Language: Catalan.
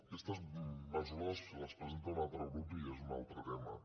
aquestes mesures les presenta un altre grup i és un altre tema